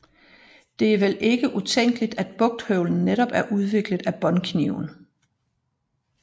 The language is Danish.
Det er vel ikke utænkeligt at bugthøvlen netop er udviklet af båndkniven